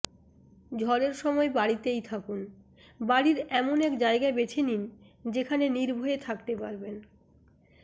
ঝড়ের সময় বাড়িতেই থাকুন বাড়ির এমন এক জায়গা বেছে নিন যেখানে নির্ভয়ে থাকতে পারবেন